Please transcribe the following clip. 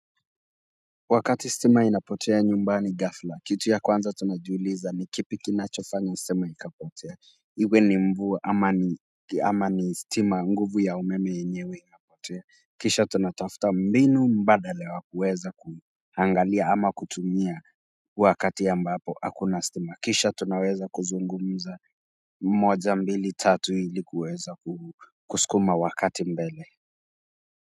Wakati stima inapotea nyumbani ghafla kitu ya kwanza tunajiuliza ni kipi kinachofanya stima ikapotea iwe ni mvua ama ni stima nguvu ya umeme yenyewe inapotea kisha tunatafta mbinu mbadala wa kuweza kuangalia ama kutumia huu wakati ambapo hakuna stima kisha tunaweza kuzungumuza moja mbili tatu ilikuweza ku kuskuma wakati mbele.